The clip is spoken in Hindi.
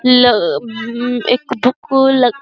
ल उम् एक --